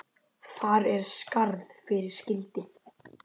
Þar er skarð fyrir skildi.